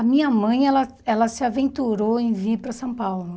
A minha mãe ela ela se aventurou em vir para São Paulo.